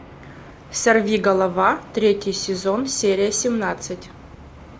сорвиголова третий сезон серия семнадцать